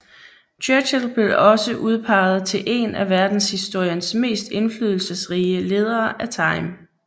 Churchill blev også udpeget til en af verdenshistoriens mest indflydelsesrige ledere af Time